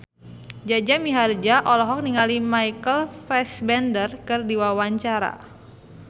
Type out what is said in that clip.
Jaja Mihardja olohok ningali Michael Fassbender keur diwawancara